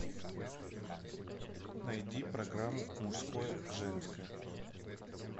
найди программу мужское женское